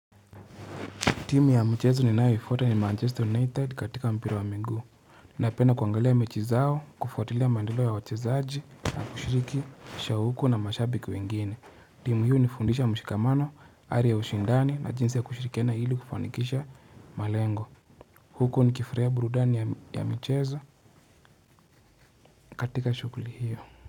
Timu ya mchezo niyoifuata ni Manchester United katika mpira wa minguu. Ninapenda kuangalia mechi zao, kufuatilia maendeleo ya wachezaji na kushiriki shauku na mashabiki wengine timu hii hunifundisha mshikamano, ari ya ushindani na jinsi ya kushirikiana ili kufanikisha malengo. Huko ni kifurahia burudani ya michezo katika shughuli hiyo.